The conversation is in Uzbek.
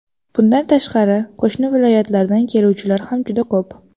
Bundan tashqari, qo‘shni viloyatlardan keluvchilar ham juda ko‘p.